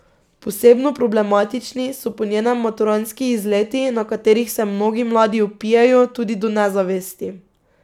Posebno problematični so po njenem maturantski izleti, na katerih se mnogi mladi opijejo tudi do nezavesti.